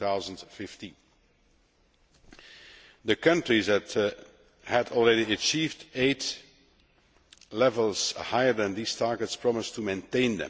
2015. The countries that had already achieved aid levels higher than these targets promised to maintain.